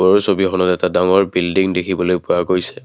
ছবিখনত এটা ডাঙৰ বিল্ডিং দেখিবলৈ পোৱা গৈছে।